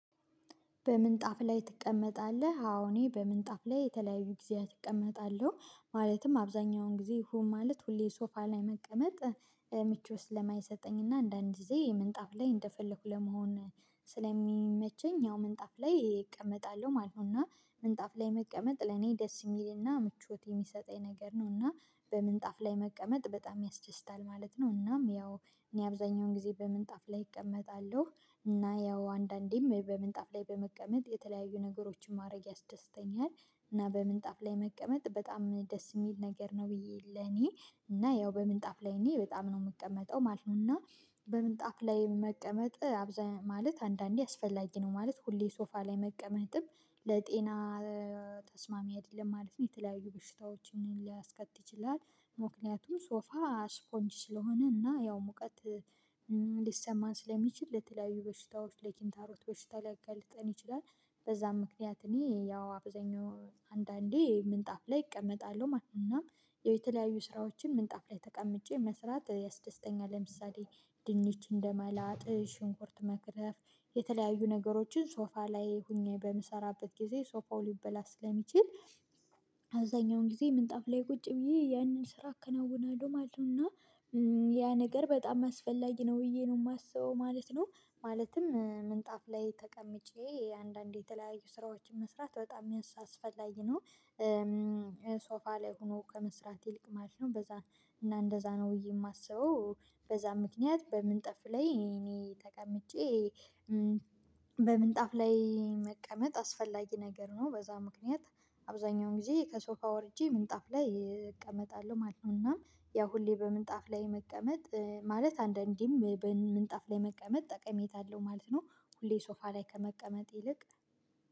በምንጣፍ ላይ ትቀመጣለህ? አዎ እኔ በምንጣፍ ላይ የተለያዩ ጊዜያት እቀመጣለሁ ማለትም አብዛኛውን ጊዜ ማለት ሁሌ ሶፋ ላይ መቀመጥ ምቾት ለማይሰጠኝና አንዳንድ ጊዜ ምንጣፍ ላይ እንደፈለኩ ለመሆን ስለሚመቸኝ ያው ምንጣፍ ላይ እቀመጣለሁ ማለት ነው። እና ምንጣፍ ላይ መቀመጥ ለኔ ደስ የሚልና ምቾት የሚሰጠኝ ነገር ነው። እና በምንጣፍ ላይ መቀመጥ በጣም ያስደስታል ማለት ነው። እናም ያው እኔ አብዛኛውን ጊዜ በምንጣፍ ላይ እቀመጣለሁ እና ያው አንዳንዴም በምንጣፍ ላይ በመቀመጥ የተለያዩ ነገሮችን ማድረግ ያስደስተኛል። እና በምንጣፍ ላይ መቀመጥ በጣም ደስ የሚል ነገር ነው ብዬ ለኔ እና ያው በምንጣፍ ላይ እኔ በጣም ነው የምቀመጠው ማለት ነው። እና በምንጣፍ ላይ መቀመጥ አብዛኛው ማለት አንዳንዴ አስፈላጊ ነው ማለት ሁሌ ሶፋ ላይ መቀመጥም ለጤና ተስማሚ አይደለም ማለት ነው። የተለያዩ በሽታዎችን ሊያስከትል ይችላል። ምክንያቱም ሶፋ ስፖንጅ ስለሆነ እና ያው ሙቀት ሊሰማን ስለሚችል ለተለያዩ በሽታዎች ለኪንታሮት በሽታ ሊያጋልጠን ይችላል። በዛም ምክንያት እኔ ያው አብዛኛው አንዳንዴ ምንጣፍ ላይ እቀመጣለሁ ማለት ነው። እናም የተለያዩ ስራዎችን ምንጣፍ ላይ ተቀምጬ መስራት ያስደስተኛል። ለምሳሌ ድንች እንደመላጥ ሽንኩርት መክተፍ የተለያዩ ነገሮችን ሶፋ ላይ ሆኜ በምሰራበት ጊዜ ሶፋው ሊበላሽ ስለሚችል አዛኛውን ጊዜ ምንጣፍ ላይ ቁጭ ብዬ ያንን ስራ አከናውናለሁ ማለት ነው። እና ያ ነገር በጣም አስፈላጊ ነው ብዬ ነው የማስበው ማለት ነው። ማለትም ምንጣፍ ላይ ተቀምጬ አንዳንዴ የተለያዩ ስራዎችን መስራት በጣም አስፈላጊ ነው። ሶፋ ላይ ሆኖ ከመስራት ይልቅ ማለት ነው። በዛ እና እንደዛ ነው የማስበው። በዛ ምክንያት በምንጣፍ ላይ እኔ ተቀምጬ በምንጣፍ ላይ መቀመጥ አስፈላጊ ነገር ነው በዛ ምክንያት አብዛኛውን ጊዜ ከሶፋ ወርጄ ምንጣፍ ላይ እቀመጣለሁ ማለት ነው። እናም ያው ሁሌ በምንጣፍ ላይ መቀመጥ ማለት አንዳንዴም በምንጣፍ ላይ መቀመጥ ጠቀሜታ አለው ማለት ነው። ሁሌ ሶፋ ላይ ከመቀመጥ ይልቅ